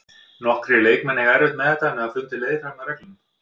Nokkrir leikmenn eiga erfitt með þetta en hafa fundið leið framhjá reglunum.